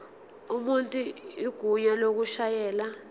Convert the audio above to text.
umuntu igunya lokushayela